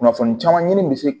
Kunnafoni caman ɲini bɛ se